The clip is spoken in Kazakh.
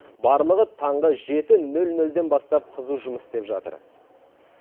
барлығы таңғы жеті нөл нөлден бастап қызу жұмыс істеп жатыр